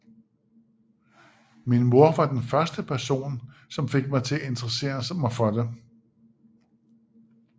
Min mor var den første person som fik mig til at interessere mig for det